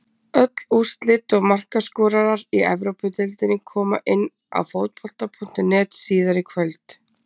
Öll úrslit og markaskorarar í Evrópudeildinni koma inn á Fótbolta.net síðar í kvöld.